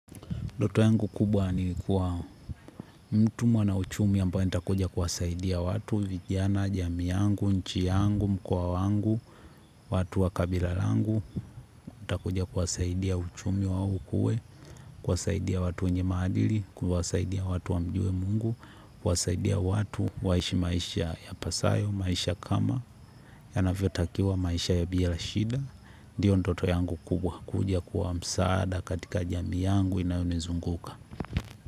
Doto yangu kubwa ni kuwa mtu mwanauchumi ambaye nitakuja kuwasaidia watu, vijana, jamii yangu, nchi yangu, mkoa wangu, watu wa kabila langu, nitakuja kuwasaidia uchumi wa ukue, kuwasaidia watu wenye maadili, kuwasaidia watu wamjue mungu, kuwasaidia watu, waishi maisha yapasayo, maisha kama, yanavyotakiwa maisha ya bila shida. Ndiyo ndoto yangu kubwa kuja kuwa msaada katika jamii yangu inayonizunguka.